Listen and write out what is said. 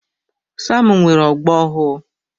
Sam nwere ogbo ọhụụ.